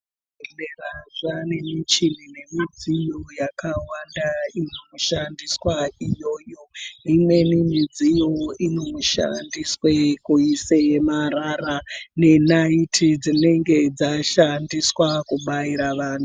Zvibhedhlera zvaa nemichini nemidziyo yakawanda inoshandiswa iyoyo. Imweni midziyo inoshandiswe kuise marara nenayiti dzinenge dzashandiswa kubaira vanhu.